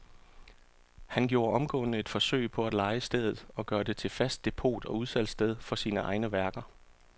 Han gjorde omgående et forsøg på at leje stedet og gøre det til fast depot og udsalgssted for sine egne værker.